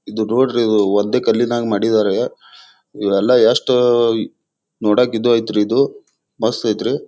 ಇದು ನೋಡ್ರಿ ಒಂದೇ ಕಲ್ಲಿನಂಗೆ ಮಾಡಿದ್ದಾರೆ. ಇವೆಲ್ಲ ಎಷ್ಟು ನೋಡೋಕ್ ಮಸ್ತ್ ಅಯ್ತ್ರಿ